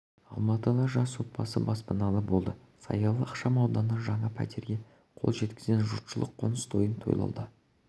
қолданған заттар сақталған бөлме бар мәдени-қонақ үй кешені құрылысының демеушісі ассоциациясы болып табылады жоба құны